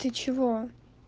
ты чего